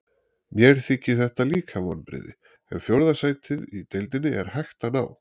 Mér þykir þetta líka vonbrigði, en fjórða sæti í deildinni er hægt að ná.